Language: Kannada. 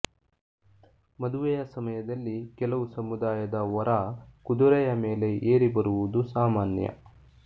ಮದುವೆಯ ಸಮಯದಲ್ಲಿ ಕೆಲವು ಸಮುದಾಯದ ವರ ಕುದುರೆಯ ಮೇಲೆ ಏರಿ ಬರುವುದು ಸಾಮಾನ್ಯ